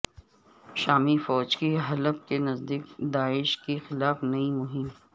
شامی فوج کی حلب کے نزدیک داعش کے خلاف نئی مہم